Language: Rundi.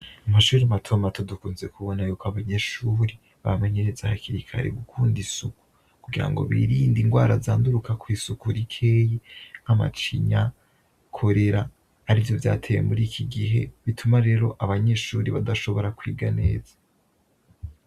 Umashuri matuamato dukunze kubona yuko abanyeshuri bamenyereze ahakirikari gukunda isuku kugira ngo birinde ingwara zanduruka kw'isuku rikeyi nk'amacinya korera ari vyo vyatewe muri iki gihe bituma rero abanyeshuri badashobora kwiga neza.